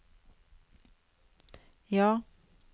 ja